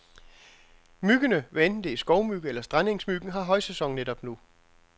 Myggene, hvad enten det er skovmyg eller strandengsmyggen, har højsæson netop nu.